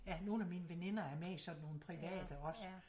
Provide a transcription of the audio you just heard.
Ja nogle af mine veninder er med i sådan nogle private også